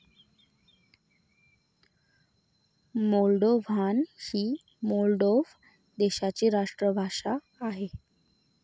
Moldovan ही Moldova देशाची राष्ट्रभाषा आहे.